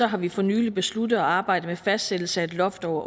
har vi for nylig besluttet at arbejde med fastsættelse af et loft over